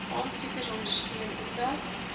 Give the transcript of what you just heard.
aansoekers ondersteun omdat